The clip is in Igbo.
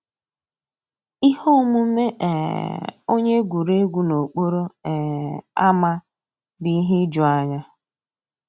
Íhé òmùmé um ónyé égwurégwu n'òkpòró um ámá bụ́ íhé ìjùányá.